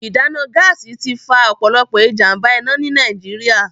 Ìdáná Gáàsì ti fa ọ̀pọ̀lọpọ̀ ìjàm̀bá-iná ní Nàìjíríà